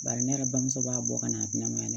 Bari ne yɛrɛ bamuso b'a bɔ ka na n'a ma ye dɛ